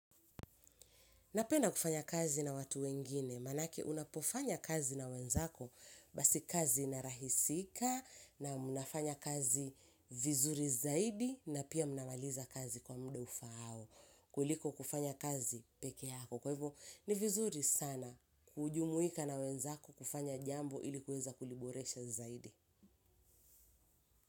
Napenda kufanya kazi na watu wengine, manake unapofanya kazi na wenzako basi kazi inarahisika na mnafanya kazi vizuri zaidi na pia mnamaliza kazi kwa muda ufaao. Kuliko kufanya kazi pekee yako. Kwa hivyo ni vizuri sana kujumuika na wenzako kufanya jambo ilikuweza kuliboresha zaidi.